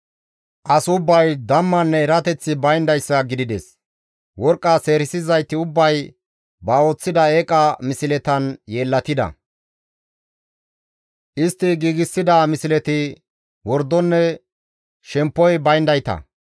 «As ubbay dammanne erateththi bayndayssa gidides; worqqa seerisizayti ubbay ba ooththida eeqa misletan yeellatida; istti giigsida misleti wordonne shemppoy bayndayta.